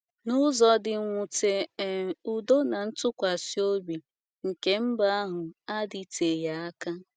N’ụzọ dị mwute um, udo na ntụkwasị obi nke mba ahụ adịteghị aka um.